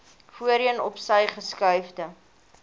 voorheen opsy geskuifde